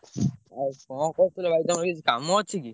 ଆଉ କଣ କରୁଥିଲ ଭାଇ ତମର କିଛି କାମ ଅଛି କି?